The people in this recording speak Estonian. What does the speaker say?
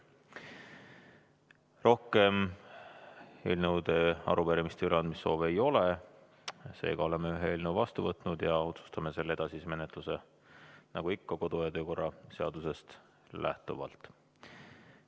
Rohkem eelnõude ja arupärimiste üleandmise soovi ei ole, seega oleme vastu võtnud ühe eelnõu ja otsustame selle edasise menetluse nagu ikka kodu- ja töökorra seadusest lähtuvalt.